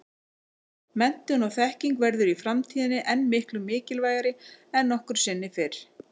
Menntun og þekking verður í framtíðinni enn miklu mikilvægari en nokkru sinni fyrr.